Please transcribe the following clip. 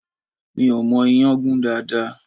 Mi ò mọ ìyàn gún dáadáa